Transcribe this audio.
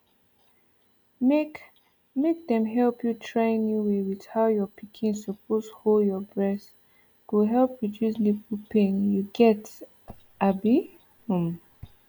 make make dem help you trynew way with how your pikin suppose hold your breast go help reduce nipple pain you get abi um